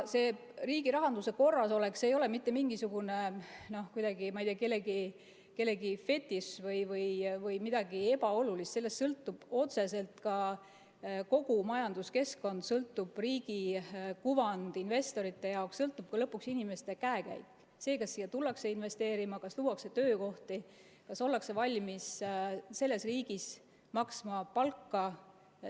Riigi rahanduse korrasolek ei ole mitte mingisugune kellegi fetiš või midagi ebaolulist, sellest sõltub otseselt kogu majanduskeskkond, sellest sõltub riigi kuvand investorite jaoks, sellest sõltub lõpuks inimeste käekäik, see, kas siia tullakse investeerima, kas luuakse töökohti, kas ollakse valmis selles riigis palka maksma.